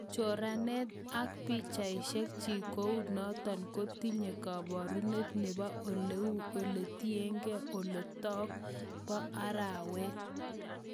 Choranet ak pichaishek chiik kounotok kotinye kaparunet nebo oleu alieteng' olotok pa arawet